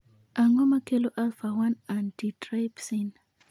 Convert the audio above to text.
Ang'o makelo alpha 1 antitrypsin?